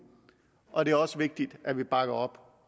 og det er også vigtigt at vi bakker op